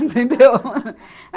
Entendeu?